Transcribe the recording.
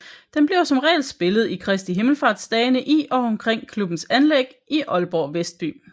Den bliver som regel spillet i Kristi Himmelsfartsdagene i og omkring klubbens anlæg i Aalborg Vestby